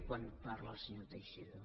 quan parla el senyor teixidó